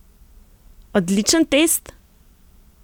Odličen test?